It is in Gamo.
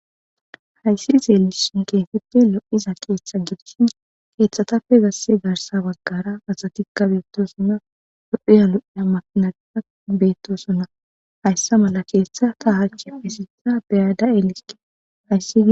hayssi xeelisin keethatappe lo7iza keeththa gidishin keeththatappe zasse garsa waggara asatikka beettosonna lo7iya lo7iya makinatita beettosonna hayssa mala keeththa ta hachi pesisa beyada elisiki hayssi